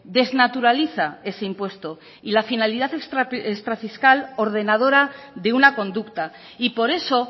desnaturaliza ese impuesto y la finalidad extra fiscal ordenadora de una conducta y por eso